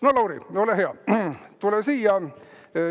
No Lauri, ole hea, tule siia!